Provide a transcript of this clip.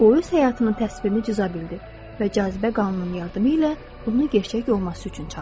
O, öz həyatının təsvirini cıza bildi və cazibə qanunun yardımı ilə bunu gerçək olması üçün çağırdı.